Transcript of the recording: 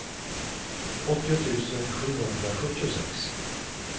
åttio tusen sjuhundrasjuttiosex